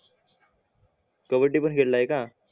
कबड्डी पण खेळलाय का